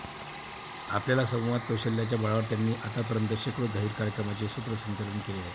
आपल्याला संवाद कौशल्याच्या बळावर त्यांनी आतापर्यंत शेकडो जाहीर कार्यक्रमांचे सूत्रसंचालन केले आहे.